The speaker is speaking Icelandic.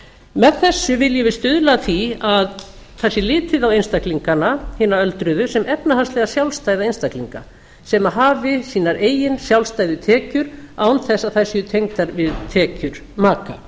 með þessu viljum við stuðla að því að það sé litið á einstaklingana hina öldruðu sem efnahagslega sjálfstæða einstaklinga sem hafi sínar eigin sjálfstæðu tekjur án þess að þær séu tengdar við tekjur maka